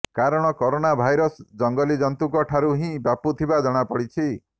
କାରଣ corona virus ଜଙ୍ଗଲୀ ଜନ୍ତୁଙ୍କ ଠାରୁ ହିଁ ବ୍ୟାପୁଥିବା ଜଣାଯାଇଛି